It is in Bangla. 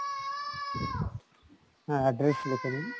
হ্যাঁ address লেখে নিন।